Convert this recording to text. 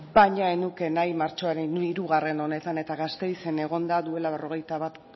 baina ez nuke nahi martxoaren hirugarrena honetan eta gasteizen egonda duela berrogeita bat